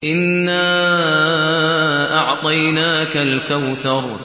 إِنَّا أَعْطَيْنَاكَ الْكَوْثَرَ